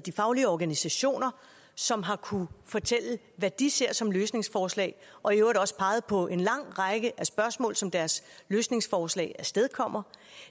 de faglige organisationer som har kunnet fortælle hvad de ser som løsningsforslag og i øvrigt også har peget på en lang række af spørgsmål som deres løsningsforslag afstedkommer